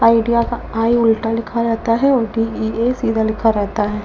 Idea का I उल्टा लिखा रहता है और डी ई ए सीधा लिखा रहता है।